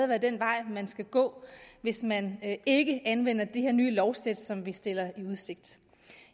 være den vej man skal gå hvis man ikke anvender det her nye lovsæt som vi stiller i udsigt